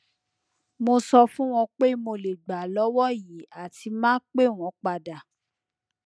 mo so fun won pe mo le gba lowo yi ati ma pe won pada